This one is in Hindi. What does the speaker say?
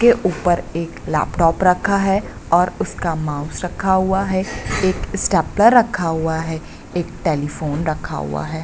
के ऊपर एक लैपटॉप रखा है और उसका माउस रखा हुआ है एक स्टेपलर रखा हुआ है एक टेलीफोन रखा हुआ है।